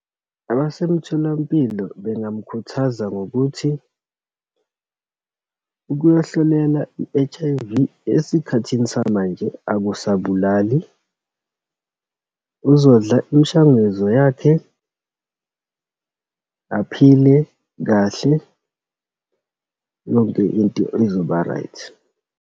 Abasemtholampilo bengamkhuthaza ngokuthi, ukuyohlolelwa i-H_I_V esikhathini samanje akusabalalisi. Uzodla imishanguzo yakhe, aphile kahle. Yonke into izoba-right.